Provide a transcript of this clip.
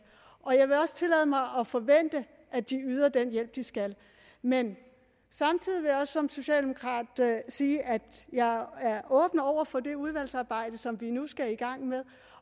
og jeg vil også tillade mig at forvente at de yder den hjælp de skal men samtidig vil jeg også som socialdemokrat sige at jeg er åben over for det udvalgsarbejde som vi nu skal i gang med